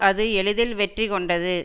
அது எளிதில் வெற்றி கொண்டது